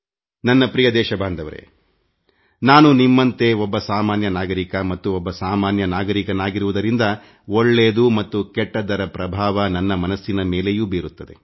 ನನ್ನ ನಲ್ಮೆಯ ದೇಶವಾಸಿಗಳೇ ನಾನೂ ನಿಮ್ಮಂತೆ ಒಬ್ಬ ಸಾಮಾನ್ಯ ನಾಗರಿಕ ಮತ್ತು ಒಬ್ಬ ಸಾಮಾನ್ಯ ನಾಗರಿಕನಾಗಿರುವುದರಿಂದ ಒಳ್ಳೆಯದು ಮತ್ತು ಕೆಟ್ಟದ್ದರ ಪ್ರಭಾವ ನನ್ನ ಮನಸ್ಸಿನ ಮೇಲೆಯೂ ಬೀರುತ್ತದೆ